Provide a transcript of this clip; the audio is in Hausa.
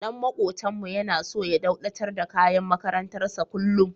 Ɗan maƙotanmu yana so ya dauɗatar da kayan makarantar sa kullum.